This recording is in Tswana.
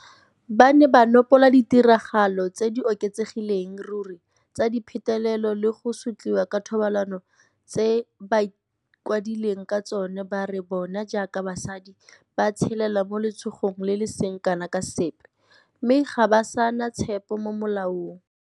Ba ne ba nopola ditiragalo tse di oketsegelang ruri tsa dipetelelo le go sotliwa ka thobalano tse bakwadileng ka tsona ba re bona jaaka basadi ba tshelela mo letshogong le le seng kana ka sepe, mme ga ba sa na tshepo mo molaong.